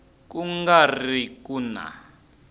ku nga ri ku na